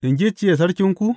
In gicciye sarkinku?